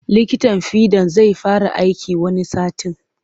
Likitan fiɗan zai fara aiki wani satin.